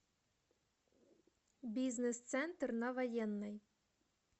бизнес центр на военной